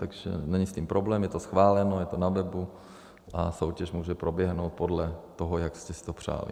Takže není s tím problém, je to schváleno, je to na webu a soutěž může proběhnout podle toho, jak jste si to přáli.